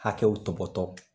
Hakɛw tɔpɔtɔ